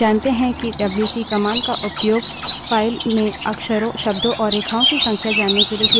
हम जानते हैं कि डब्ल्यू we wc command का उपयोग file में अक्षरों शब्दों और रेखाओं की संख्या जानने के लिए किया जाता है